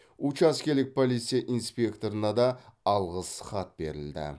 учаскелік полиция инспекторына да алғыс хат берілді